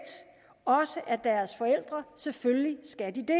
også af deres forældre selvfølgelig skal de det